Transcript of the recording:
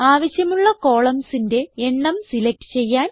ആവശ്യമുള്ള columnsന്റെ എണ്ണം സിലക്റ്റ് ചെയ്യാൻ